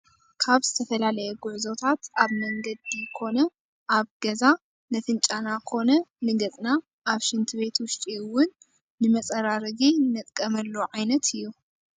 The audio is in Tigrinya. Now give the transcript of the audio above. ካበ ዝተፈላለየ ጉዕዞታት ኣብ መነገዲ ኮነ ኣበ ገዛ ነፍንጫና ኮነ ንገፅና ኣብ ሽንቲ ቤት ውሽጢ እውን ንመፀራረጊ ነጥቀመሉ ዓይነት እዩ።